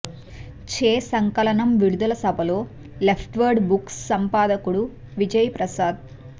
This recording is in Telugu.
చే సంకలనం విడుదల సభలో లెఫ్డ్వర్డ్ బుక్స్ సంపాదకుడు విజయ్ ప్రసాద్